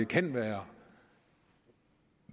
kan være